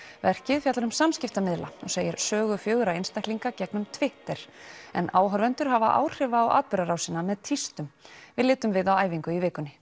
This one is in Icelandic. verkið fjallar um samskiptamiðla og segir sögu fjögurra einstaklinga gegnum Twitter en áhorfendur hafa áhrif á atburðarásina með tístum við litum við á æfingu í vikunni